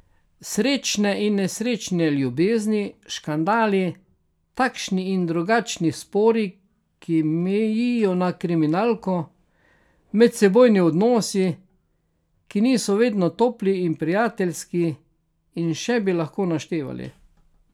Srečne in nesrečne ljubezni, škandali, takšni in drugačni spori, ki mejijo na kriminalko, medsebojni odnosi, ki niso vedno topli in prijateljski, in še bi lahko naštevali.